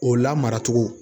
O lamara cogo